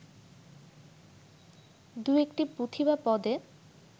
দু-একটি পুঁথি বা পদে